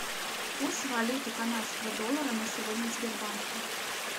курс валюты канадского доллара на сегодня в сбербанке